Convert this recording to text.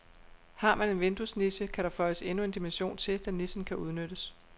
Har man en vinduesniche, kan der føjes endnu en dimension til, da nichen kan udnyttes.